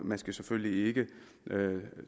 man skal selvfølgelig ikke